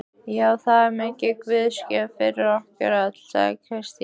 Já, það er mikil guðsgjöf fyrir okkur öll, sagði Kristín.